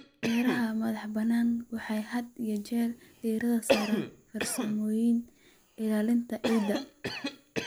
Beeraha madax-bannaan waxay had iyo jeer diiradda saaraan farsamooyinka ilaalinta ciidda.